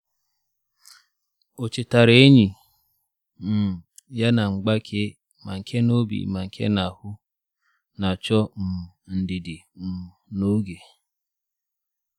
Ọ chetara enyi um ya na mgbake—ma nke n’obi ma nke n’ahụ—na-achọ um ndidi um na oge.